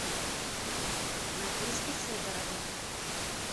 надежде федоровой